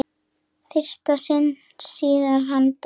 fyrsta sinn síðan hann dó.